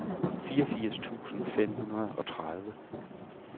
fireogfirs tusind fem hundrede og tredive